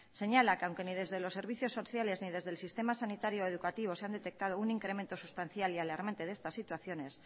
señala que aunque ni desde los servicios sociales ni desde el sistema sanitario educativo se han detectado un incremento sustancial y alarmante de esta situaciones